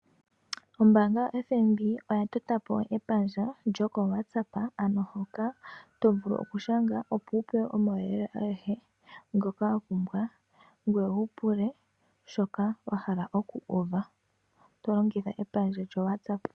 Ombanga ya Fnb oya tota po epandja lyoko WhatsApp ano hoka to vulu oku shanga opo wu pewe omauyelele agehe ngoka wa pumbwa ,ngoye wu pule shoka wa hala oku uva to longitha epandja lyo WhatsApp.